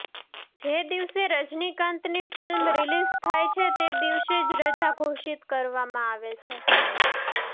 જે દિવસે રજનીકાંતની ફિલ્મ રિલીઝ થાય છે તે દિવસે જ રજા ઘોષિત કરવામાં આવે છે